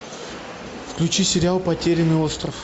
включи сериал потерянный остров